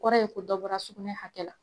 Kɔrɔ ye ko dɔbɔra sugunɛ hakɛ la